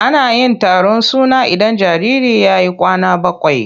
Ana yin taron suna idan jariri ya yi kwana bakwai.